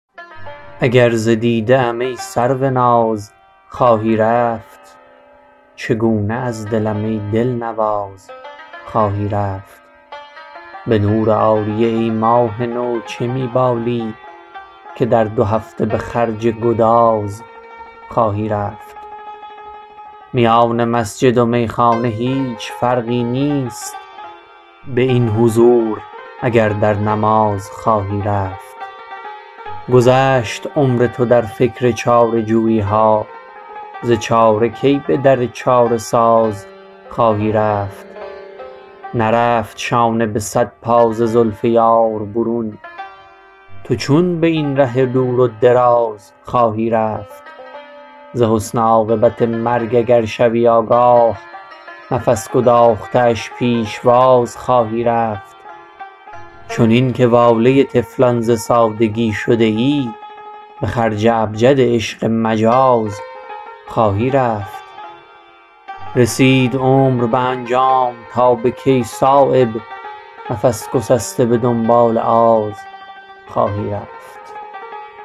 اگر ز دیده ام ای سروناز خواهی رفت چگونه از دلم ای دلنواز خواهی رفت به نور عاریه ای ماه نو چه می بالی که در دو هفته به خرج گداز خواهی رفت میان مسجد و میخانه هیچ فرقی نیست به این حضور اگر در نماز خواهی رفت گذشت عمر تو در فکر چاره جوییها ز چاره کی به در چاره ساز خواهی رفت نرفت شانه به صد پا ز زلف یار برون تو چون به این ره دور و دراز خواهی رفت ز حسن عاقبت مرگ اگر شوی آگاه نفس گداخته اش پیشواز خواهی رفت چنین که واله طفلان ز سادگی شده ای به خرج ابجد عشق مجاز خواهی رفت رسید عمر به انجام تا به کی صایب نفس گسسته به دنبال آز خواهی رفت